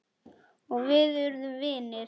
Og við urðum vinir.